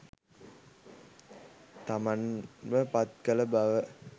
තමන්ව පත්කළ බව